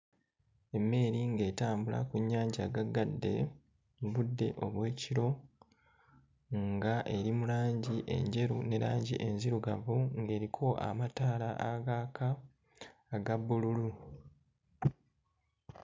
Emmeeri ng'etambula ku nnyanja gaggadde mu budde obw'ekiro, nga eri mu langi enjeru ne langi enzirugavu, ng'eriko amataala agaaka aga bbululu.